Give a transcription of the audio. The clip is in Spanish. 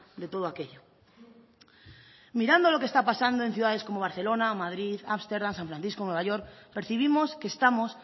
de todo aquello mirando lo que está pasando en ciudades como barcelona madrid ámsterdam san francisco nueva york percibimos que estamos